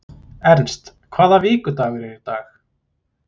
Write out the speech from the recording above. Ernst, hvaða vikudagur er í dag?